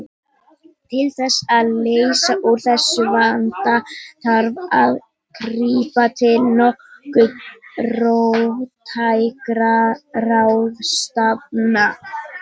Til þess að leysa úr þessum vanda þarf að grípa til nokkuð róttækra ráðstafana.